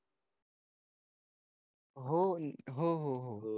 हो हम्म हम्म